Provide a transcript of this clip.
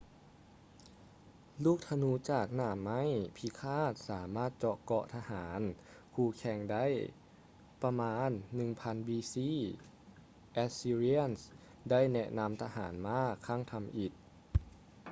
ລູກທະນູຈາກໜ້າໄມ້ພິຄາດສາມາດເຈາະເກາະຂອງທະຫານຄູ່ແຂ່ງໄດ້. ປະມານ 1000 b.c. assyrians ໄດ້ແນະນຳທະຫານມ້າຄັ້ງທຳອິດ